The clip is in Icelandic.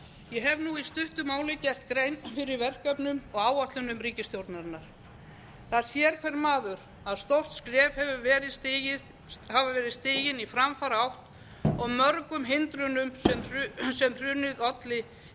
ég hef nú í stuttu máli gert grein fyrir verkefnum og áætlunum ríkisstjórnarinnar það sér hver maður að stór skref hafa verið stigin í framfaraátt og mörgum hindrunum sem hrunið olli hefur verið rutt úr